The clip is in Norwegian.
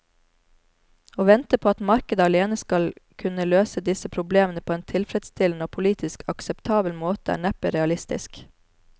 Å vente at markedet alene skal kunne løse disse problemene på en tilfredsstillende og politisk akseptabel måte er neppe realistisk.